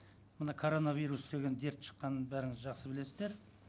міне коронавирус деген дерт шыққанын бәріңіз жақсы білесіздер